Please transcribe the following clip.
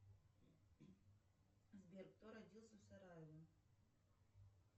сбер кто родился в сараево